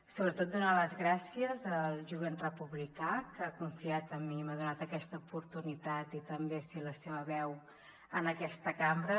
sobretot donar les gràcies al jovent republicà que ha confiat en mi i m’ha donat aquesta oportunitat i també ser la seva veu en aquesta cambra